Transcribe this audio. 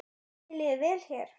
Mér líður vel hér.